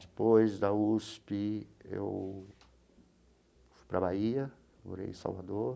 Depois da USP, eu fui para a Bahia, morei em Salvador.